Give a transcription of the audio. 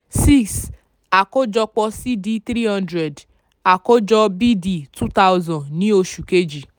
six àkójọpọ̀ c d three hundred àkójọ b d two thousand ní oṣù kejì.